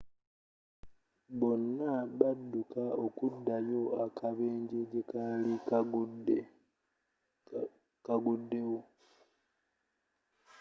bonna badduka okuddayo akabenjje gyekali kagguddewo